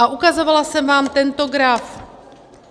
A ukazovala jsem vám tento graf.